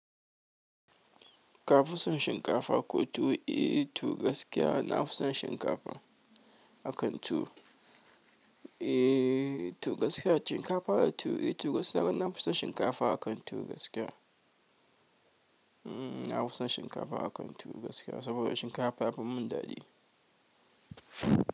Kafuson shinkafa ko tuwo eh to gaskiya nafison shinkafa a kan tuwo. Eh to gaskiya shinkafa tu, eh to na fi son shinkafa gaskiya nafi sons shinkafa akan tuwo gaskiya. Na fi son shinkafa a kan tuwo gaskiya saboda shinkafa yafi mun daɗi.